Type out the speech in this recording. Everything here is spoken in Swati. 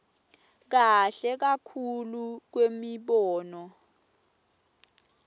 kahle kakhulu kwemibono